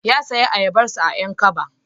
Ya sayo ayabarsa a 'Yan kaba